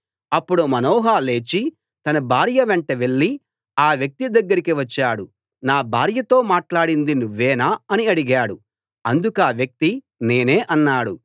అప్పుడు మనోహ లేచి తన భార్య వెంట వెళ్లి ఆ వ్యక్తి దగ్గరికి వచ్చాడు నా భార్యతో మాట్లాడింది నువ్వేనా అని అడిగాడు అందుకా వ్యక్తి నేనే అన్నాడు